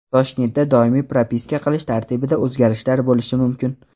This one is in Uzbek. Toshkentda doimiy propiska qilish tartibida o‘zgarishlar bo‘lishi mumkin.